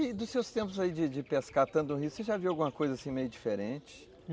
E dos seus tempos aí de de pescar tanto o rio, você já viu alguma coisa assim meio diferente?